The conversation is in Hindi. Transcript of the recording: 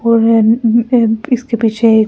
और न उम अ ह इसके पीछे एक पार्क बनाया जा--